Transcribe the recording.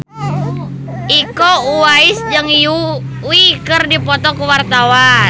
Iko Uwais jeung Yui keur dipoto ku wartawan